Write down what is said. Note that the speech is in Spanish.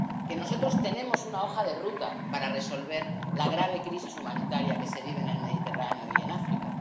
que nosotros tenemos una hoja de ruta para resolver la grave crisis humanitaria que se vive en el Mediterráneo y en África